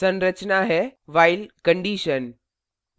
संरचना है while condition